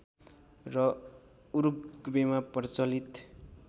र उरूग्वेमा प्रचलित